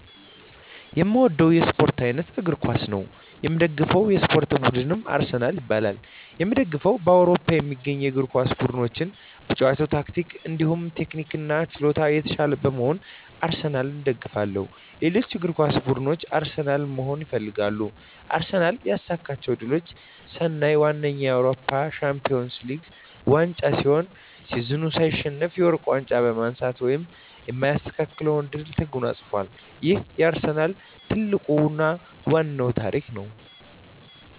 የእምወደዉ የእስፖርት አይነት እግር ኳስ ነዉ። የምደግፈዉ የእስፖርት ቡድንም አርሰናል ይባላል። የእምደግፈዉም በአዉሮፖ ከሚገኙ የእግር ኳስ ቡድኖች በጨዋታ ታክቲክ እንዲሁም ቴክኒክና ችሎታ የታሻለ በመሆኑ አርሰናልን እደግፋለሁ። ሌሎች እግር ኳስ ብድኖች አርሰናልን መሆን ይፈልጋሉ። አርሰናል ያሳካቸዉ ድሎች ስናይ ዋነኛዉ የአዉሮፖ ሻንፒወንስ ሊግ ዋንጫ ሲሆን ሲዝኑን ሳይሸነፍ የወርቅ ዋንጫ በማንሳት ማንም የማይስተካከለዉን ድል ተጎናፅፋል ይሄም የአርሰናል ትልቁና ዋናዉ ታሪክ ነዉ።